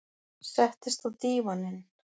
Settist á dívaninn.